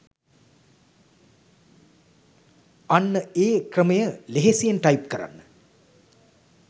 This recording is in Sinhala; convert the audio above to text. අන්න ඒ "ක්‍රමය" ලෙහෙසියෙන් ටයිප් කරන්න